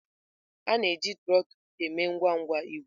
A na-eji trotul eme ngwangwa igwe.